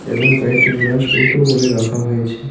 এবং কয়েকটি গ্লাস উল্টো করে রাখা হয়েছে.